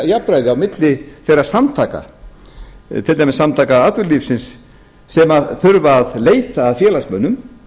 jafnræði á milli þeirra samtaka til dæmis samtaka atvinnulífsins sem þurfa að leita að félagsmönnum